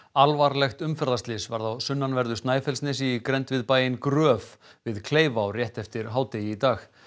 alvarlegt umferðarslys varð á sunnanverðu Snæfellsnesi í grennd við bæinn Gröf við rétt eftir hádegi í dag